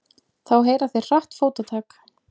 Þá heyra þeir hratt fótatak.